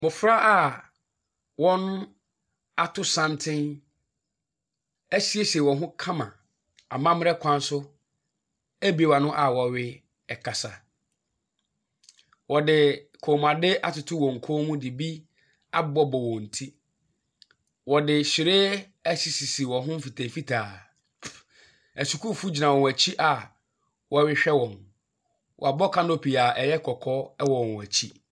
Mmɔfra a wɔato santene asiesie wɔn ho kama wɔ amammerɛ kwan so abue wɔn ano a wɔrekasa. Wɔde kɔnmuadeɛ atoto wɔn kɔn mu de abobɔ wɔn ti. Wɔde hyire asisi sisi wɔn ho mfitaa mfitaa. Asukuufoɔ gyina wɔn akyi a wɔrehwɛ wɔn. Wɔabɔ canopy a ɛyɛ kɔkɔɔ wɔ wɔn akyi.